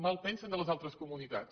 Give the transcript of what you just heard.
malpensen de les altres comunitats